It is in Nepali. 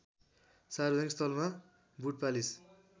सार्वजनिक स्थलमा बुटपालिस